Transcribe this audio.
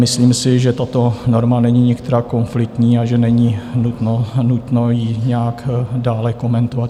Myslím si, že tato norma není nikterak konfliktní a že není nutno ji nějak dále komentovat.